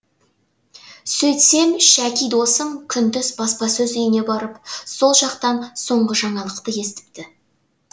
сөйтсем шәки досым күндіз баспасөз үйіне барып сол жақтан соңғы жаңалықты естіпті